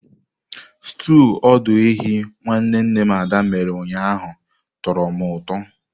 Stúu ọdụ ehi nwanne nne m Ada mere ụnyaahụ tọrọ m ụtọ.